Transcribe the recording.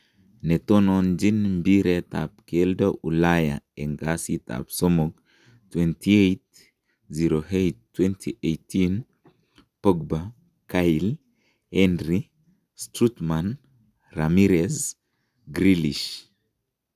Netononjin Mbiret ab keldo Ulaya en kasit ab somok 28.08.2018:Pogba, Cahill, Henry, Strootman, Ramires, Grealish.